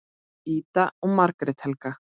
Ida og Margrét Helga.